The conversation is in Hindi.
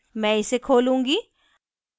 मैं इसे खोलूंगी